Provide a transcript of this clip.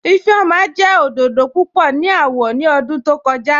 Ifẹ́ọma jẹ́ ọdọdọ púpọ̀ ni awọ̀ ni ọ̀dún tó kọ̀ja